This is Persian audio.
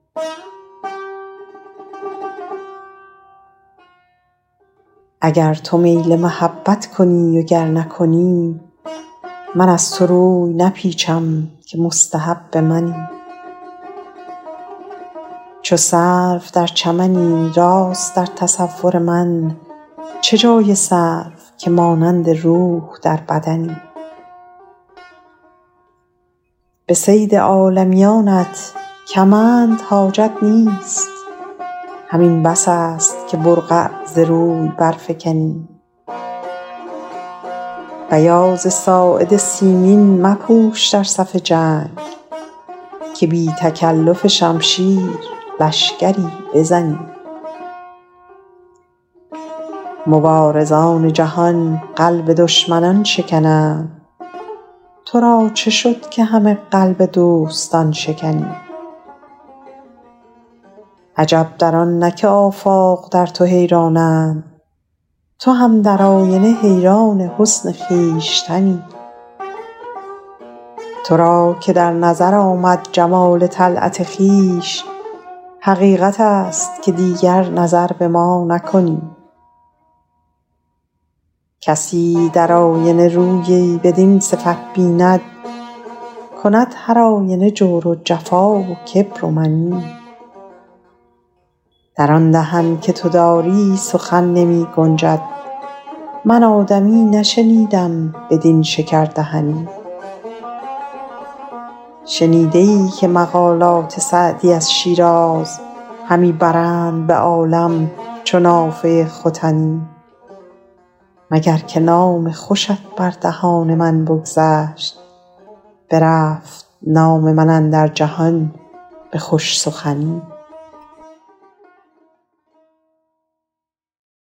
اگر تو میل محبت کنی و گر نکنی من از تو روی نپیچم که مستحب منی چو سرو در چمنی راست در تصور من چه جای سرو که مانند روح در بدنی به صید عالمیانت کمند حاجت نیست همین بس است که برقع ز روی برفکنی بیاض ساعد سیمین مپوش در صف جنگ که بی تکلف شمشیر لشکری بزنی مبارزان جهان قلب دشمنان شکنند تو را چه شد که همه قلب دوستان شکنی عجب در آن نه که آفاق در تو حیرانند تو هم در آینه حیران حسن خویشتنی تو را که در نظر آمد جمال طلعت خویش حقیقت است که دیگر نظر به ما نکنی کسی در آینه شخصی بدین صفت بیند کند هرآینه جور و جفا و کبر و منی در آن دهن که تو داری سخن نمی گنجد من آدمی نشنیدم بدین شکردهنی شنیده ای که مقالات سعدی از شیراز همی برند به عالم چو نافه ختنی مگر که نام خوشت بر دهان من بگذشت برفت نام من اندر جهان به خوش سخنی